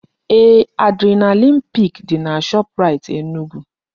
Eeh, adrenaline pik dị na Shoprait Enugu